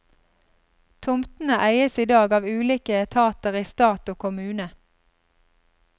Tomtene eies i dag av ulike etater i stat og kommune.